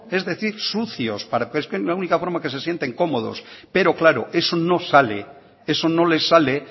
es decir sucios para es que es la única forma que se sienten cómodos pero claro eso no sale eso no les sale